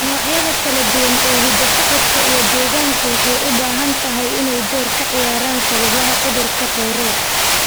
Noocyada kala duwan ee hidda-socodka iyo deegaanka waxay u badan tahay inay door ka ciyaaraan sababaha cudurka Tourette.